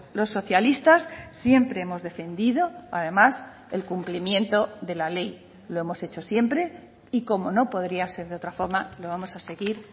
los socialistas siempre hemos defendido además el cumplimiento de la ley lo hemos hecho siempre y como no podría ser de otra forma lo vamos a seguir